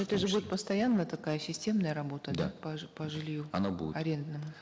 это же будет постоянно такая системная работа да по по жилью она будет арендному